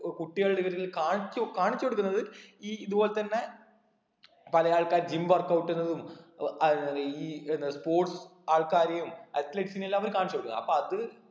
ഏർ കുട്ടികളുടെ ഇടയില് കാണിച്ചു കാണിച്ചു കൊടുക്കുന്നത് ഈ ഇതുപോലെ തന്നെ പല ആൾക്കാര് gym work out ന്നതും ഏർ ഈ എന്ന sports ആൾക്കാരേയും athletes നെല്ലാം അവര് കാണിച്ച് കൊടുക്കും അപ്പൊ അത്